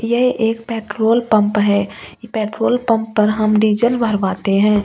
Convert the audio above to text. यह एक petrol pump है पेट्रोल पंप पर हम डीजल भरवाते है ।